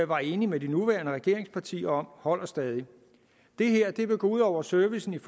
var enige med de nuværende regeringspartier om holder stadig det her vil gå ud over servicen